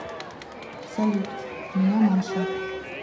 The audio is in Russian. салют меня маша